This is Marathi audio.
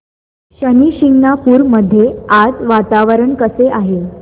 शनी शिंगणापूर मध्ये आज वातावरण कसे आहे